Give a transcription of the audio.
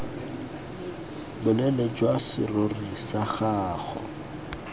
boleele jwa serori sa gago